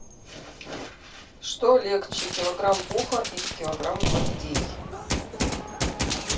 что легче килограмм пуха или килограмм гвоздей